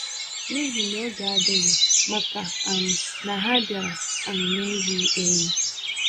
n'ihi n'oge adịghị, màkà um na ha biara um n'eyighi-eyi.